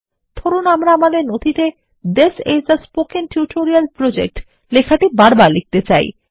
ধরুনআমরা আমাদের নথিতে this is a spoken tutorial project লেখাটি বারবার লিখতে চাই